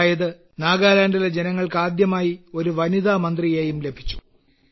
അതായത് നാഗാലാൻഡിലെ ജനങ്ങൾ ആദ്യമായി ഒരു വനിതാ മന്ത്രിയെയും ലഭിച്ചു